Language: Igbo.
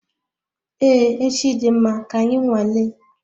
Ee echi dị mma, ka anyị nwale